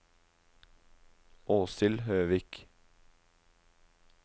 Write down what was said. Åshild Høvik